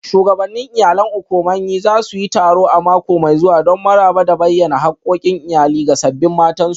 Shugabannin Iyalan Okomanyi za su yi taro a mako mai zuwa don maraba da bayyana hakkokin iyali ga sabbin matansu